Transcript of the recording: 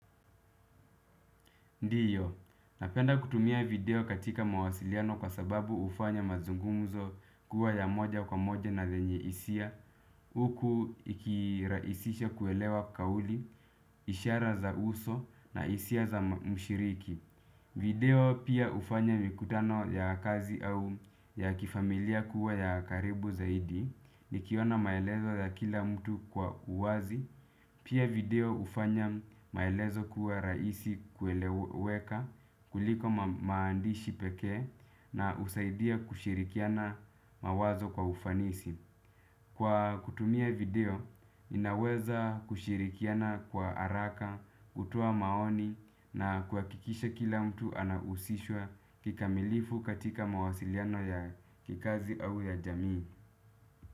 Ndiyo, napenda kutumia video katika mawasiliano kwa sababu hufanya mazungumuzo kuwa ya moja kwa moja na zenye hisia, huku ikirahisisha kuelewa kauli, ishara za uso na hisia za mshiriki. Video pia hufanya mikutano ya kazi au ya kifamilia kuwa ya karibu zaidi nikiona maelezo za kila mtu kwa uwazi pia video hufanya maelezo kuwa rahisi kueleweka kuliko maandishi peke na husaidia kushirikiana mawazo kwa ufanisi. Kwa kutumia video, ninaweza kushirikiana kwa haraka, kutoa maoni na kuhakikisha kila mtu anahusishwa kikamilifu katika mawasiliano ya kikazi au ya jamii.